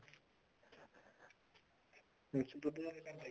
ਦੁੱਧ ਥੋਡੇ ਘਰ ਦਾ ਹੀ ਹੈ